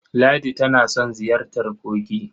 Ladi tana son ziyartar kogi.